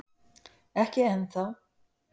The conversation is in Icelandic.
Ekki enn þá